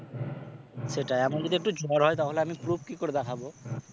সেটাই আমার যদি একটু জ্বর হয় তাহলে আমি proof কি করে দেখাবো?